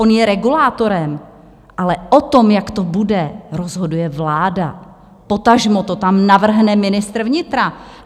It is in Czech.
On je regulátorem, ale o tom, jak to bude, rozhoduje vláda, potažmo to tam navrhne ministr vnitra.